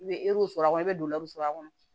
I bɛ sɔrɔ a kɔnɔ i bɛ sɔrɔ a kɔnɔ